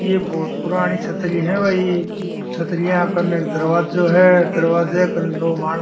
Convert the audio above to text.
ये बहुत पुरानी छत्री है भई छत्री कने दरवाजा है दरवाजा के पास दो मानव --